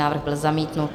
Návrh byl zamítnut.